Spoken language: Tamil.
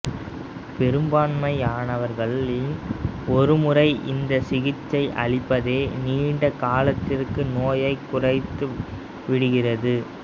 பெரும்பான்மையானவர்களில் ஒரு முறை இந்த சிகிச்சை அளிப்பதே நீண்ட காலத்திற்கு நோயைக் குறைத்து விடுகிறது